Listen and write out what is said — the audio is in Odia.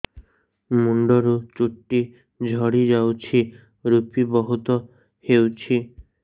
ମୁଣ୍ଡରୁ ଚୁଟି ଝଡି ଯାଉଛି ଋପି ବହୁତ ହେଉଛି